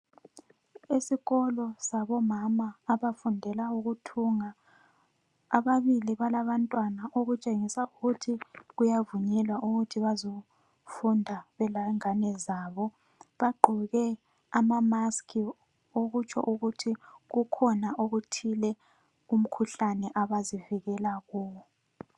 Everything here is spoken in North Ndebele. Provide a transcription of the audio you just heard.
Isikolo sabo mama abafundela ukuthunga, ababili balabantwana okutshengisa ukuthi kuyavunyelwa ukuthi bezofunda belengane zabo, bagqoke ama mask okutsho ukuthi kukhona okuthile umkhuhlane abazivikela kuwo.